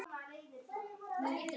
Hann vill fljúga.